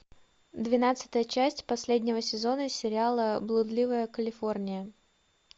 двенадцатая часть последнего сезона сериала блудливая калифорния